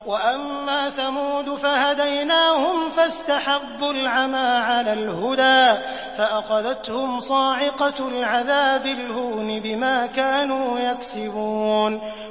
وَأَمَّا ثَمُودُ فَهَدَيْنَاهُمْ فَاسْتَحَبُّوا الْعَمَىٰ عَلَى الْهُدَىٰ فَأَخَذَتْهُمْ صَاعِقَةُ الْعَذَابِ الْهُونِ بِمَا كَانُوا يَكْسِبُونَ